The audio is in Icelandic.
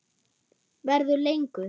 Verður lengur.